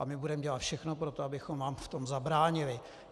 A my budeme dělat všechno pro to, abychom vám v tom zabránili.